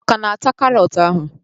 Ọ ka na-ata karọt ahụ.